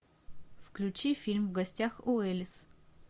включи фильм в гостях у элис